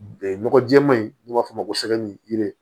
nɔgɔ jɛɛma in n'an b'a f'o ma ko sɛdi